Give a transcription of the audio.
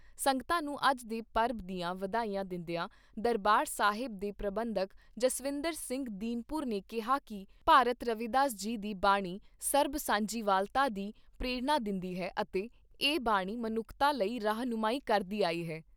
ਸੰਗਤਾਂ ਨੂੰ ਅੱਜ ਦੇ ਪਰਬ ਦੀਆਂ ਵਧਾਈਆਂ ਦਿੰਦਿਆਂ ਦਰਬਾਰ ਸਾਹਿਬ ਦੇ ਪ੍ਰਬੰਧਕ ਜਸਵਿੰਦਰ ਸਿੰਘ ਦੀਨਪੁਰ ਨੇ ਕਿਹਾ ਕਿ ਭਾਰਤ ਰਵੀਦਾਸ ਜੀ ਦੀ ਬਾਣੀ ਸਰਬ ਸਾਂਝੀਵਾਲਤਾ ਦੀ ਪ੍ਰੇਰਣਾ ਦਿੰਦੀ ਹੈ ਅਤੇ ਇਹ ਬਾਣੀ ਮਨੁੱਖਤਾ ਲਈ ਰਾਹਨੁਮਾਈ ਕਰਦੀ ਆਈ ਹੈ।